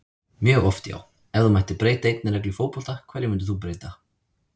mjög oft já Ef þú mættir breyta einni reglu í fótbolta, hverju myndir þú breyta?